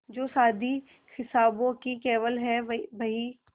जो शादी हिसाबों की केवल है बही